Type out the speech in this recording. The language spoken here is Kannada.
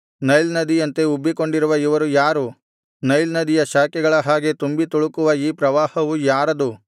ನೈಲ್ ನದಿಯಂತೆ ಉಬ್ಬಿಕೊಂಡಿರುವ ಇವರು ಯಾರು ನೈಲ್ ನದಿಯ ಶಾಖೆಗಳ ಹಾಗೆ ತುಂಬಿತುಳುಕುವ ಈ ಪ್ರವಾಹವು ಯಾರದು